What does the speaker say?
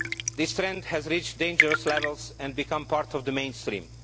This trend has reached dangerous levels and become part of the mainstream.